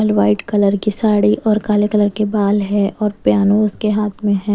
White colour की साड़ी और काले कलर के बाल है और प्यानो उसके हाथ में है।